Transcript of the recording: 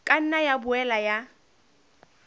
ka nna ya boela ya